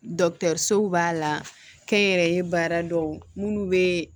b'a la kɛnyɛrɛye baara dɔw minnu bɛ